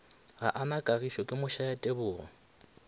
gaa na kagišo ke mošayatebogo